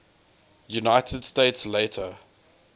united states later